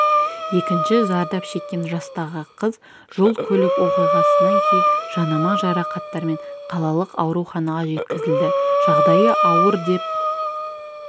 екінші зардап шеккен жастағы қыз жол-көлік оқиғасынан кейін жанама жарақаттармен қалалық ауруханаға жеткізілді жағдайы ауыр деп